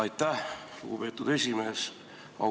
Aitäh, lugupeetud esimees!